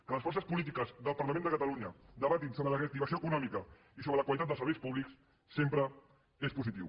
que les forces polítiques del parlament de catalunya debatin sobre la reactivació econòmica i sobre la qualitat dels serveis públics sempre és positiu